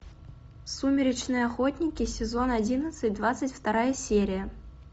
сумеречные охотники сезон одиннадцать двадцать вторая серия